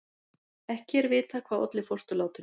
Ekki er vitað hvað olli fósturlátinu